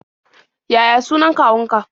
Yaya sunan kawunka?